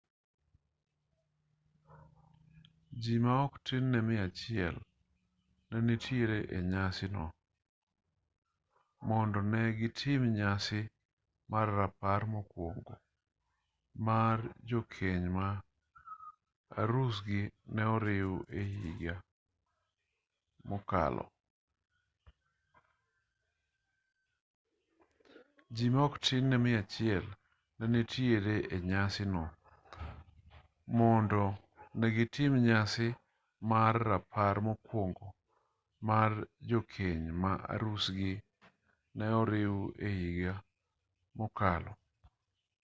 ji ma ok tin ne 100 ne nitiere e nyasi no mondo ne gitim nyasi mar rapar mokuongo mar jokeny ma arusgi ne oriw e higa mokalo